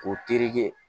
K'o tereke